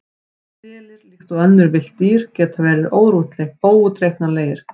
Selir, líkt og önnur villt dýr, geta verið óútreiknanlegir.